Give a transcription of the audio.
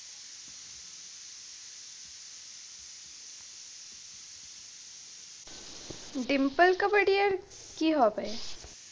ডিম্পল কাবাডিয়ার কি হবে?